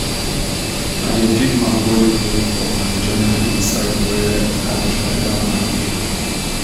i dey pick mango leaf wey fall and join am inside where i dey gather manure.